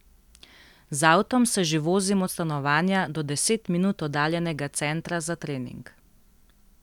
Z avtom se že vozim od stanovanja do deset minut oddaljenega centra za trening.